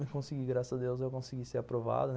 Eu consegui, graças a Deus, eu consegui ser aprovado, né.